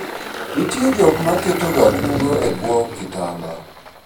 nitie joka ma ketoga kungo e bwo kitanda